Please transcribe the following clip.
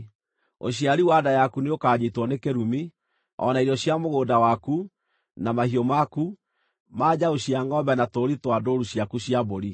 Ũciari wa nda yaku nĩũkanyiitwo nĩ kĩrumi, o na irio cia mũgũnda waku, na mahiũ maku, ma njaũ cia ngʼombe na tũũri twa ndũũru ciaku cia mbũri.